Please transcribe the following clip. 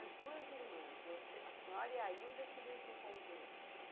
As duas irmãs, você, a senhora e a Ilda, queriam ir para um convento?